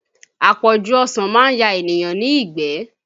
Àpọ̀jù ọsàn máa ń ya èèyàn ní ìgbẹ́